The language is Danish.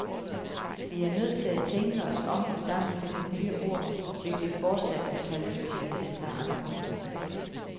Vi er nødt til at tænke os om og sammen finde nye ord, hvis vi fortsat vil kaldes specialister af andre.